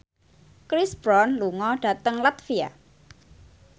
Chris Brown lunga dhateng latvia